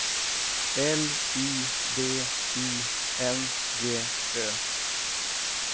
L I D I N G Ö